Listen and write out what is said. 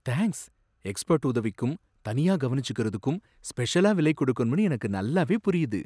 Thanks, expert உதவிக்கும் தனியா கவனிச்சுக்குறதுக்கும் ஸ்பெஷலா விலை குடுக்கணும்னு எனக்கு நல்லாவே புரியுது.